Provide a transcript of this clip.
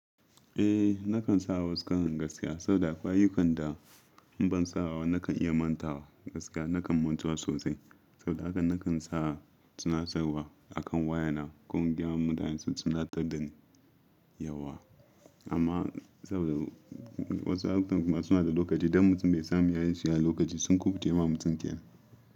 Eh, nakan sa wasu karon gaskiya saboda ƙwayukan da in ban sa wa nakan iya mantawa gaskiya nakan mutuwa sosai. Saboda haka nakan sa tunatarwa akan wayana ko in gayama mutane su tunatar da ni yauwa. Amma saboda wasu lokutan kuma suna da lokaci idon mutum bai samu yayi shirya lokaci sun kuɓucewa yi wa mutum kyau.